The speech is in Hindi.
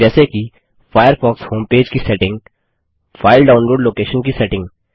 जैसे कि फायरफॉक्स होमपेज की सेटिंग फाइल डाउनलोड़ लोकेशन की सेटिंग